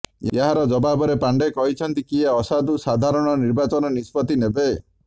ଏହାର ଜବାବରେ ପାଣ୍ଡେ କହିଛନ୍ତି କିଏ ଅସାଧୁ ସାଧାରଣ ନିର୍ବାଚନ ନିଷ୍ପତ୍ତି ନେବ